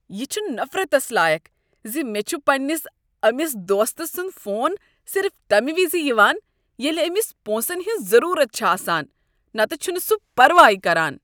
ہ چھُ نفرتس لایق ز مےٚ چھُ پنٛنس أمس دوست سنٛد فون صرف تمہ وز یوان ییٚلہ أمس پۄنسن ہٕنز ضروٗرت چھ آسان نتہِ چُھنہٕ سُہ پرواے کران۔